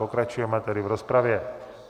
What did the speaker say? Pokračujeme tedy v rozpravě.